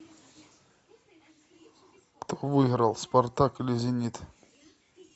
кто выиграл спартак или зенит